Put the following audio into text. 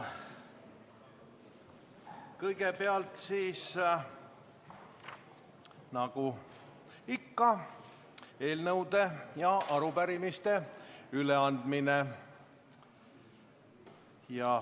Kõigepealt eelnõude ja arupärimiste üleandmine.